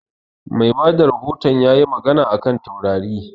Mai bada rahoton ya yi magana a kan taurari